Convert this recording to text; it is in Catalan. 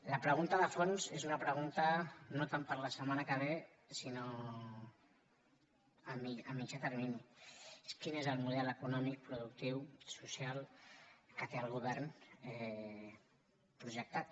la pregunta de fons és una pregunta no tant per a la setmana que ve sinó a mitjà termini és quin és el mo·del econòmic productiu social que té el govern pro·jectat